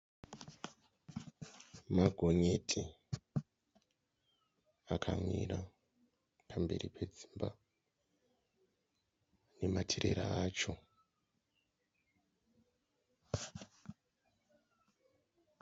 Magonyeti akamira pamberi pedzimba nematirera acho.